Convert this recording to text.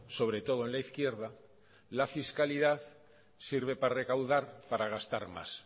sobre todo en la izquierda la fiscalidad sirve para recaudar para gastar más